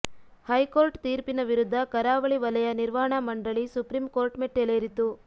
high court ತೀರ್ಪಿನ ವಿರುದ್ಧ ಕರಾವಳಿ ವಲಯ ನಿರ್ವಹಣಾ ಮಂಡಳಿ ಸುಪ್ರೀಂ ಕೋರ್ಟ್ ಮೆಟ್ಟಲೇರಿತು